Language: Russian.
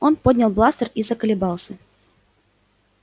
он поднял бластер и заколебался